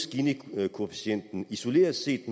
at ginikoefficienten isoleret set